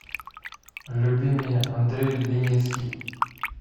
люби меня андрей леницкий